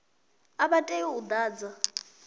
a vha tei u ḓadza